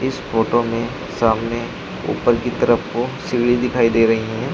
इस फोटो में सामने उपर की तरफ को सीढ़ी दिखाई दे रही हैं।